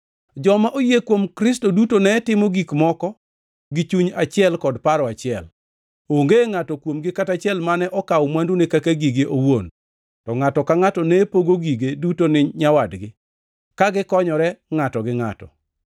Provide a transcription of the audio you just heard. Joma oyie kuom Kristo duto ne timo gik moko gi chuny achiel kod paro achiel. Onge ngʼato kuomgi kata achiel mane okawo mwandune kaka gige owuon, to ngʼato ka ngʼato ne pogo gige duto ni nyawadgi, ka gikonyore ngʼato gi ngʼato.